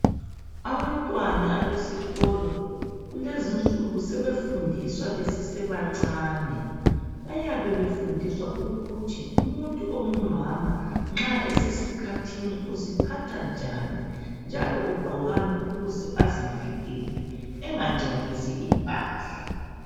Abantwana abesikolo, kulezi insuku sebefundiswa besasebancane. Bayabe befundiswa ukuthi umuntu ongumama, nxa esesikhathini, uziphatha njani, njalo ugqokani, ukuze azivikele. Engangcolisi impahla.